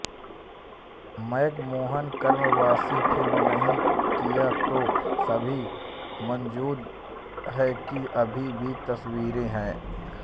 McMahon कार्यवाही film नहीं किया तो सभी मौजूद है कि अभी भी तस्वीरें हैं